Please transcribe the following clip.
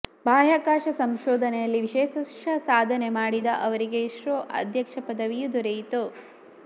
ಬಾಹ್ಯಾಕಾಶ ಸಂಶೋಧನೆಯಲ್ಲಿ ವಿಶೇಷ ಸಾಧನೆ ಮಾಡಿದ ಅವರಿಗೆ ಇಸ್ರೋ ಅಧ್ಯಕ್ಷ ಪದವವಿಯೂ ದೊರೆಯಿತು